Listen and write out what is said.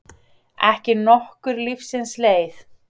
Ekki nokkur lífsins leið.